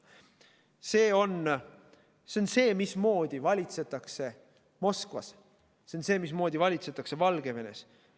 See on see, mismoodi valitsetakse Moskvas, see on see, mismoodi valitsetakse Valgevenes.